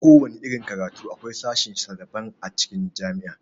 Kowana irin karatu akwai sashen sa daban a cikin jami'a.